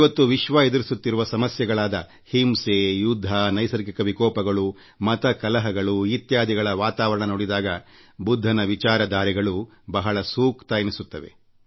ಇವತ್ತು ವಿಶ್ವ ಎದುರಿಸುತ್ತಿರುವ ಸಮಸ್ಯೆಗಳಾದ ಹಿಂಸೆ ಯುದ್ಧ ನೈಸರ್ಗಿಕ ವಿಕೋಪಗಳು ಮತ ಕಲಹಗಳು ಇತ್ಯಾದಿಗಳ ವಾತಾವರಣ ನೋಡಿದಾಗ ಬುದ್ಧನ ವಿಚಾರಧಾರೆಗಳು ಬಹಳ ಸೂಕ್ತ ಎನಿಸುತ್ತವೆ